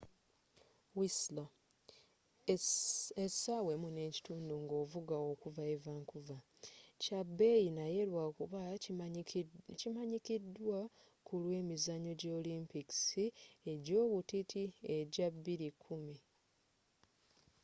whistler essaawa 1.5 nga ovuga okuva e vancouver kya beeyi naye lwakuba kimanyikiddwa kulwa emizanyo gya olimpikisi egyobutiti egya 2010